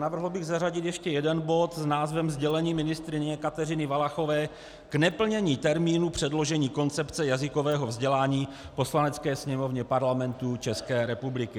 Navrhl bych zařadit ještě jeden bod s názvem Sdělení ministryně Kateřiny Valachové k neplnění termínu předložení koncepce jazykového vzdělání Poslanecké sněmovně Parlamentu České republiky.